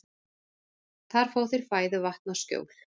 Þar fá þeir fæðu, vatn og skjól.